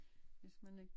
Hvis man er